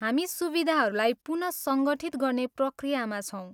हामी सुविधाहरूलाई पुनःसङ्गठित गर्ने प्रक्रियामा छौँ।